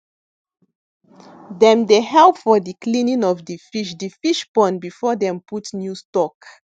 dem dey help for di cleaning of di fish di fish pond before dem put new stock